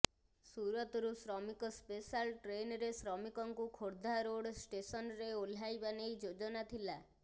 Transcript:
ସୁରତରୁ ଶ୍ରମିକ ସ୍ପେଶାଲ୍ ଟ୍ରେନ୍ରେ ଶ୍ରମିକଙ୍କୁ ଖୋର୍ଦ୍ଧା ରୋଡ୍ ଷ୍ଟେସନ୍ରେ ଓହ୍ଲାଇବା ନେଇ ଯୋଜନା ଥିଲା